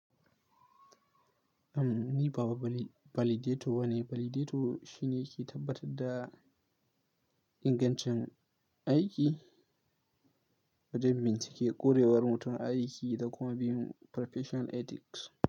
Am, ni ba validator ne. Validator shine yake tabbatar da ingancin aiki, wajen bincike ƙurewar mutum aiki da kuma bin professional ethics.